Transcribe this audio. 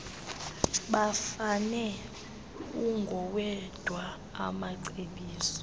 bafane ungowedwa amacebiso